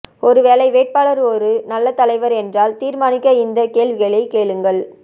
ஒரு வேலை வேட்பாளர் ஒரு நல்ல தலைவர் என்றால் தீர்மானிக்க இந்த கேள்விகளை கேளுங்கள்